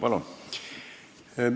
Palun!